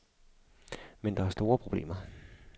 Men der er store problemer.